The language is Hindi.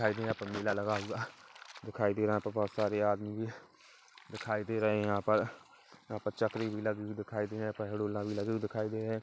दिखाई दे रहा है यहाँ पर मेला लगा हुआ दिखाई दे रहा है बहुत सारे आदमी भी दिखाई दे रहे है यहा पर यहाँ पर चकरी भी लगी दिखाई दे रही है भी लगी हुई दिखाई दे रहे।